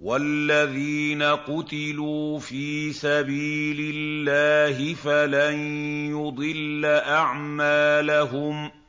وَالَّذِينَ قُتِلُوا فِي سَبِيلِ اللَّهِ فَلَن يُضِلَّ أَعْمَالَهُمْ